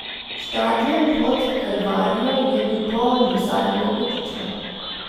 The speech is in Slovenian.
Štadion pod Kalvarijo je bil poln do zadnjega kotička.